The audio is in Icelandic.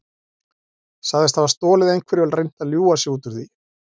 Sagðist hafa stolið einhverju og reynt að ljúga sig út úr því.